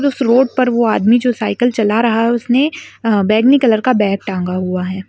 उस रोड पर वो आदमी जो साइकिल चला रहा है उसने बैंगनी कलर बैग टांगा हुआ है।